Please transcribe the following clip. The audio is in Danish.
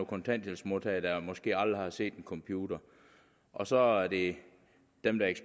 kontanthjælpsmodtagere der måske aldrig har set en computer og så er det dem der